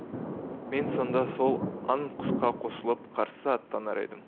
мен сонда сол аң құсқа қосылып қарсы аттанар едім